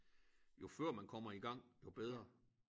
Jo før man kommer i gang jo bedre